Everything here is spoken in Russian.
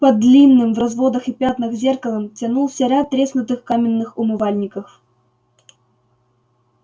под длинным в разводах и пятнах зеркалом тянулся ряд треснутых каменных умывальников